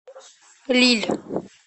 лилль